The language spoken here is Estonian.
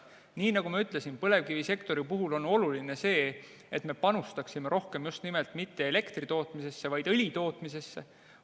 Nii nagu ma ütlesin, põlevkivisektori puhul on oluline see, et me panustaksime rohkem just nimelt mitte elektri tootmisesse, vaid õli tootmisesse.